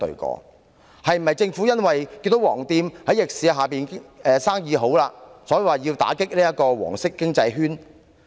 政府是否因為看見"黃店"在逆市下生意興隆，所以要打擊"黃色經濟圈"？